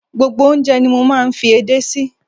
Gbogbo oúnjẹ ni mo máa ń fi ede sí.